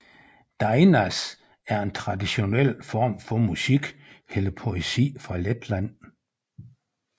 Dainas er en traditionel form for musik eller poesi fra Letland